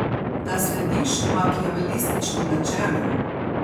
Da slediš makiavelističnim načelom?